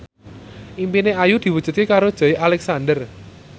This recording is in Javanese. impine Ayu diwujudke karo Joey Alexander